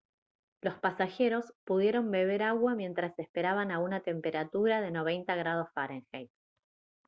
los pasajeros pudieron beber agua mientras esperaban a una temperatura de 90 °f